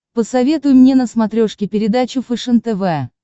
посоветуй мне на смотрешке передачу фэшен тв